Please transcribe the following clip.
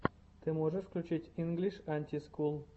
ты можешь включить инглиш анти скул